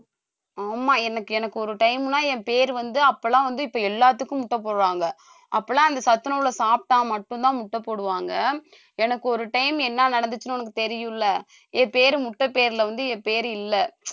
ஆமா எனக்கு எனக்கு ஒரு time எல்லாம் என் பேரு வந்து அப்ப எல்லாம் வந்து இப்ப எல்லாத்துக்கும் முட்டை போடுறாங்க அப்பெல்லாம், இந்த சத்துணவிலே சாப்பிட்டா மட்டும்தான் முட்டை போடுவாங்க எனக்கு ஒரு time என்ன நடந்துச்சுன்னு உனக்கு தெரியும்ல என் பேரு முட்டை பேர்ல வந்து என் பேரு இல்ல